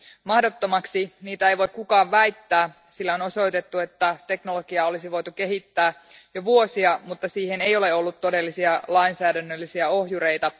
Mahdottomaksi niitä ei voi kukaan väittää, sillä on osoitettu, että teknologiaa olisi voitu kehittää jo vuosia, mutta siihen ei ole ollut todellisia lainsäädännöllisiä ohjureita.